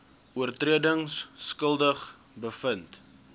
oortredings skuldig bevind